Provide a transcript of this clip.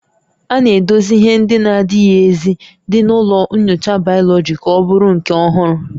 A na-edochi ihe ndị na-ezighị ezi dị na ụlọ nyocha bayoloji ka ọ bụrụ nke ọhụrụ